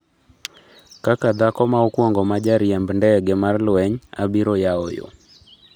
" kaka dhako ma okuongo ma jariemb ndege mar lweny, abiro yawo yoo,"